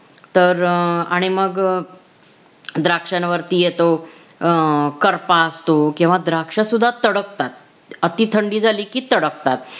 तर अं आणि मग अं द्राक्ष्यांवरती येतो अं करपा असतो किंवा द्राक्ष सुद्धा तडकतात अति थंडी झाली कि तडकतात